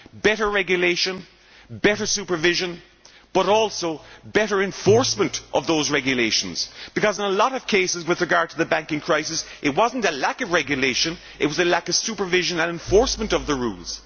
Better regulation, better supervision but also better enforcement of those regulations because, in a lot of cases with regard to the banking crisis, it was not about a lack of regulation but rather a lack of supervision and enforcement of the rules.